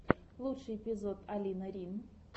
лучший эпизод алина рин